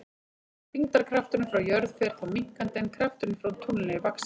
Þyngdarkrafturinn frá jörð fer þá minnkandi en krafturinn frá tungli vaxandi.